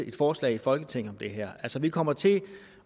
et forslag i folketinget om det her vi kommer til